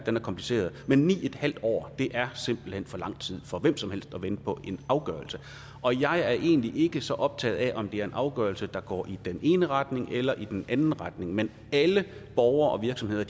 er kompliceret men ni en halv år er simpelt hen for lang tid for hvem som helst at vente på en afgørelse jeg er egentlig ikke så optaget af om det er en afgørelse der går i den ene retning eller i den anden retning men alle borgere og virksomheder